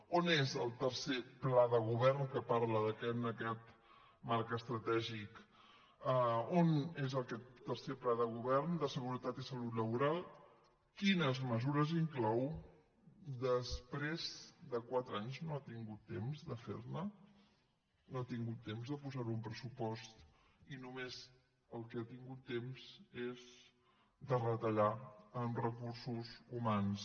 on és el tercer pla de govern que parla en aquest marc estratègic on és aquest tercer pla de govern de seguretat i salut laboral quines mesures inclou després de quatre anys no ha tingut temps de ferne no ha tingut temps de posarhi un pressupost i només del que ha tingut temps és de retallar en recursos humans